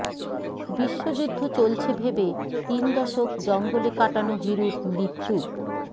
বিশ্বযুদ্ধ চলছে ভেবে তিন দশক জঙ্গলে কাটানো হিরুর মৃত্যু